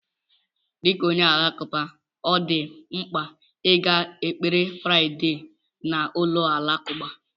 Dị ka onye Alakụba, ọ dị mkpa ịga ekpere Fraịdee na ụlọ alakụba.